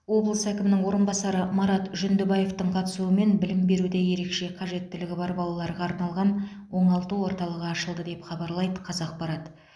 облыс әкімінің орынбасары марат жүндібаевтың қатысуымен білім беруде ерекше қажеттілігі бар балаларға арналған оңалту орталығы ашылды деп хабарлайды қазақпарат